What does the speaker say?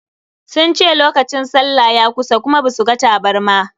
Sun ce lokacin sallah ya kusa kuma ba su ga tabarma.